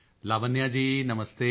Lavanya ji ਨਮਸਤੇ